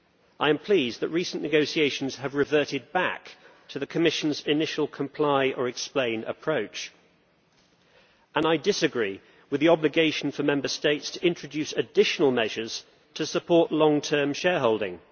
I am pleased that recent negotiations have reverted back to the Commission's initial comply or explain' approach, and I disagree with the obligation for Member States to introduce additional measures to support long term shareholding.